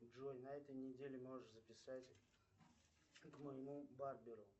джой на этой неделе можешь записать к моему барберу